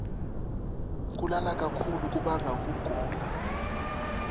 kulala kakhulu kubanga kugula